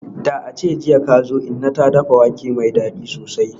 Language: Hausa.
Da ace jiya kazo, inna ta dafa wake mai dadi sosai.